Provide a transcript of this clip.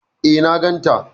Eh na gan ta